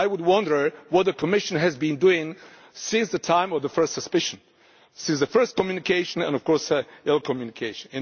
I would wonder what the Commission has been doing since the time of the first suspicion, since the first communication and, of course, your communication.